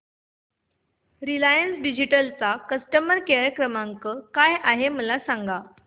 Reliance digital चा customer care क्रमांक काय आहे मला सांगा